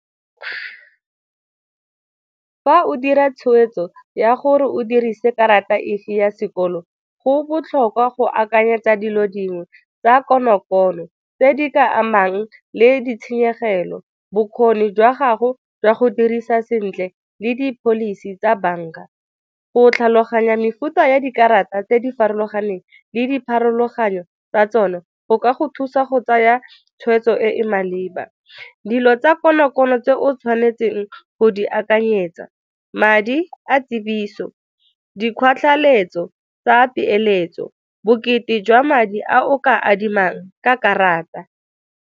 Fa o dira tshweetso ya gore o dirise karata efe ya sekolo go botlhokwa go akanyetsa dilo dingwe tsa konokono tse di ka amang le ditshenyegelo, bokgoni jwa gago jwa go dirisa sentle le di-policy tsa banka. Go tlhaloganya mefuta ya dikarata tse di farologaneng le dipharologanyo tsa tsona go ka go thusa go tsaya tshweetso e e maleba. Dilo tsa konokono tse o tshwanetseng go di akanyetsa, madi a tsebiso, tsa peeletso, bokete jwa madi a o ka adimang ka karata.